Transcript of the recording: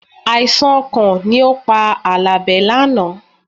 Àìsàn ọkàn ni ó pa Àlàbé lánàá